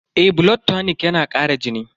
Eh, blood tonic yana kara jini.